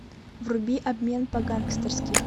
вруби обмен по гангстерски